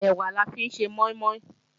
Ẹ̀wà la fi ń ṣe mọ́ín-mọ́ín